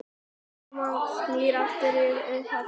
Úrkoman snýr aftur til upphafsins.